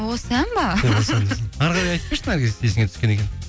осы ән бе әрі қарай айтып берші наргиз есіңе түскен екен